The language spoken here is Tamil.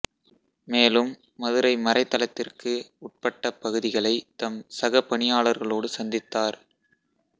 மேலும் மதுரை மறைத்தளத்திற்கு உட்பட்ட பகுதிகளை தம் சகபணியாளர்களோடு சந்தித்தார்